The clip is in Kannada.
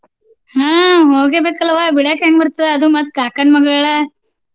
ಹಾ ಹೋಗ್ಲೇಬೇಕಲ್ವ ಬಿಡಾಕ್ ಹೆಂಗ್ ಬರ್ತದ ಅದು ಮತ್ತ್ ಕಾಕನ್ ಮಗಳ.